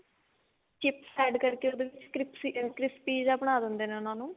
chips add ਕਰਕੇ ਉਹਦੇ ਵਿੱਚ crip crispy ਜਾ ਬਣਾ ਦਿੰਦੇ ਨੇ ਉਹਨੂੰ